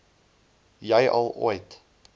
jy al ooit